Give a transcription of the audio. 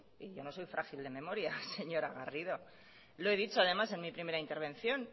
y yo no soy frágil de memoria señora garrido lo he dicho además en mi primera intervención